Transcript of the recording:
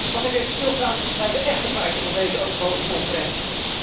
Mag ik even stilstaan bij de echte feiten van deze overbodige conferentie?